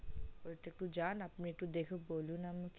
ঐ টা একটু যান একটু বলুন আমাকে